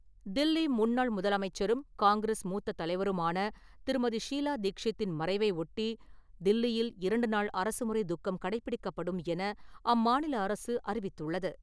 தில்லி முன்னாள் முதலமைச்சரும் காங்கிரஸ் மூத்த தலைவருமான திருமதி ஷீலா தீக்ஷித்தின் மறைவை ஒட்டி தில்லியில் இரண்டு நாள் அரசுமுறை துக்கம் கடைப்பிடிக்கப்படும் என அம்மாநில அரசு அறிவித்துள்ளது.